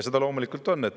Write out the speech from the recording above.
See ta loomulikult on.